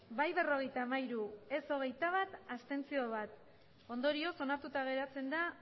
bai berrogeita hamairu ez hogeita bat abstentzioak bat ondorioz onartuta geratzen da